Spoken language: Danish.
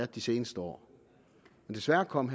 de seneste år men desværre kom